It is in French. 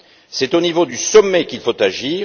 C'est au niveau du sommet qu'il faut agir.